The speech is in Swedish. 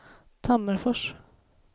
Tammerfors